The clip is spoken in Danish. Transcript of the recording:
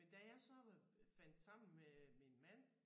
Men da jeg så var fandt sammen med min mand